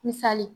Misali